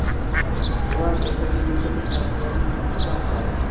Ular ertaga yurtimiz taraqqiyoti uchun xizmat qiladi.